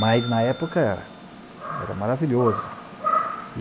Mas, na época, era maravilhoso.